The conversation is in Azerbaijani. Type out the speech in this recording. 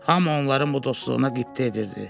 Hamı onların bu dostluğuna qibtə edirdi.